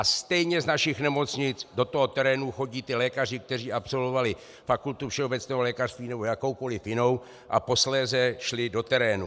A stejně z našich nemocnic do toho terénu chodí ti lékaři, kteří absolvovali fakultu všeobecného lékařství nebo jakoukoli jinou a posléze šli do terénu.